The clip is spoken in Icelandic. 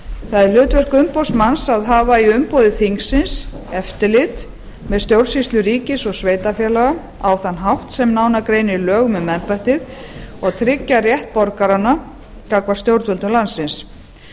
það er hlutverk umboðsmanns að hafa í umboði þingsins eftirlit með stjórnsýslu ríkis og sveitarfélaga á þann hátt sem nánar greinir í lögum um embættið og tryggja rétt borgaranna gagnvart stjórnvöldum landsins